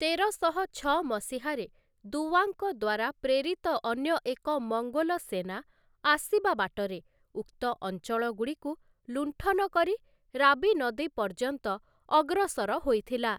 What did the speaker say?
ତେରଶହ ମସିହାରେ, ଦୁୱାଙ୍କ ଦ୍ୱାରା ପ୍ରେରିତ ଅନ୍ୟ ଏକ ମଙ୍ଗୋଲ ସେନା, ଆସିବା ବାଟରେ ଉକ୍ତ ଅଞ୍ଚଳଗୁଡ଼ିକୁ ଲୁଣ୍ଠନ କରି, ରାବି ନଦୀ ପର୍ଯ୍ୟନ୍ତ ଅଗ୍ରସର ହୋଇଥିଲା ।